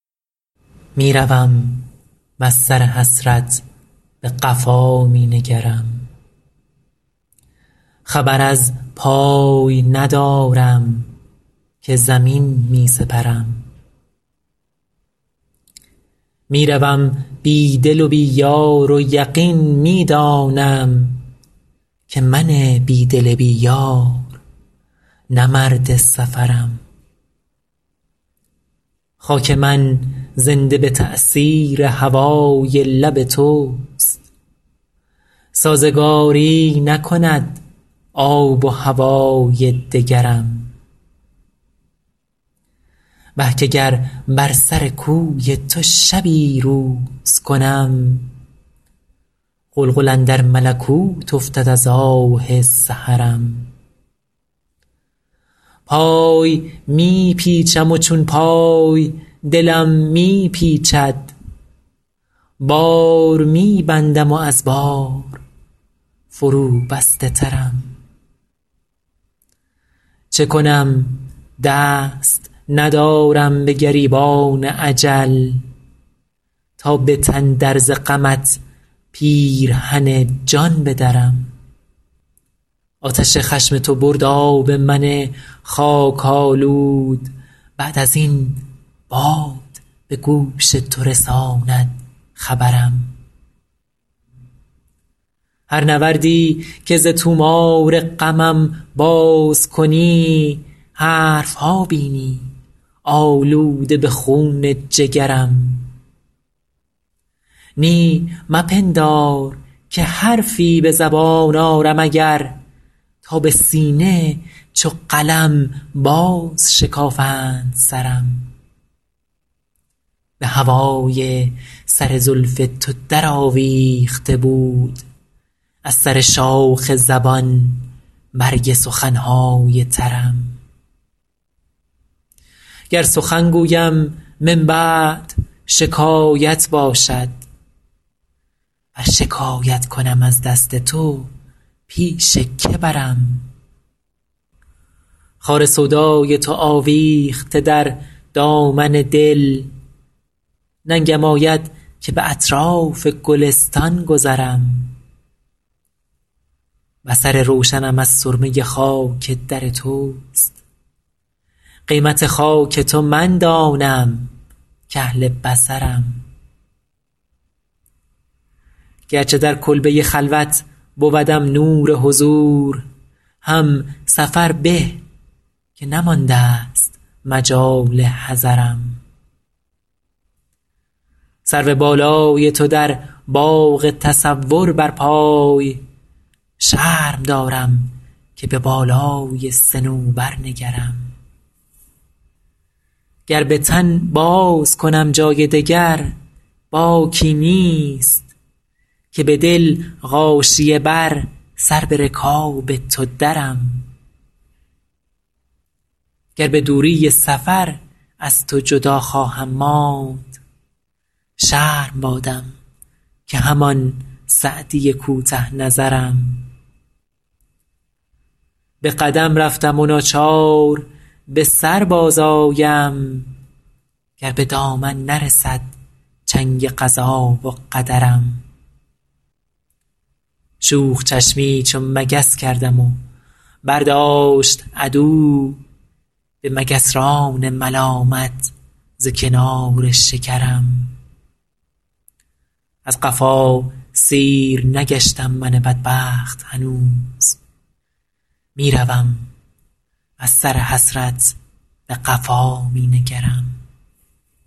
می روم وز سر حسرت به قفا می نگرم خبر از پای ندارم که زمین می سپرم می روم بی دل و بی یار و یقین می دانم که من بی دل بی یار نه مرد سفرم خاک من زنده به تأثیر هوای لب توست سازگاری نکند آب و هوای دگرم وه که گر بر سر کوی تو شبی روز کنم غلغل اندر ملکوت افتد از آه سحرم پای می پیچم و چون پای دلم می پیچد بار می بندم و از بار فروبسته ترم چه کنم دست ندارم به گریبان اجل تا به تن در ز غمت پیرهن جان بدرم آتش خشم تو برد آب من خاک آلود بعد از این باد به گوش تو رساند خبرم هر نوردی که ز طومار غمم باز کنی حرف ها بینی آلوده به خون جگرم نی مپندار که حرفی به زبان آرم اگر تا به سینه چو قلم بازشکافند سرم به هوای سر زلف تو درآویخته بود از سر شاخ زبان برگ سخن های ترم گر سخن گویم من بعد شکایت باشد ور شکایت کنم از دست تو پیش که برم خار سودای تو آویخته در دامن دل ننگم آید که به اطراف گلستان گذرم بصر روشنم از سرمه خاک در توست قیمت خاک تو من دانم کاهل بصرم گرچه در کلبه خلوت بودم نور حضور هم سفر به که نماندست مجال حضرم سرو بالای تو در باغ تصور برپای شرم دارم که به بالای صنوبر نگرم گر به تن بازکنم جای دگر باکی نیست که به دل غاشیه بر سر به رکاب تو درم گر به دوری سفر از تو جدا خواهم ماند شرم بادم که همان سعدی کوته نظرم به قدم رفتم و ناچار به سر بازآیم گر به دامن نرسد چنگ قضا و قدرم شوخ چشمی چو مگس کردم و برداشت عدو به مگسران ملامت ز کنار شکرم از قفا سیر نگشتم من بدبخت هنوز می روم وز سر حسرت به قفا می نگرم